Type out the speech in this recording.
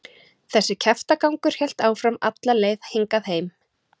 Þessi kjaftagangur hélt áfram alla leið hingað heim.